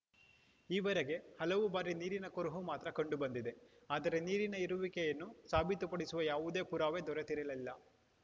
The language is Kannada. ಈವರೆಗೆ ಹಲವು ಬಾರಿ ನೀರಿನ ಕುರುಹು ಮಾತ್ರ ಕಂಡುಬಂದಿದೆ ಆದರೆ ನೀರಿನ ಇರುವಿಕೆಯನ್ನು ಸಾಬೀತುಪಡಿಸುವ ಯಾವುದೇ ಪುರಾವೆ ದೊರೆತಿರಲಿಲ್ಲ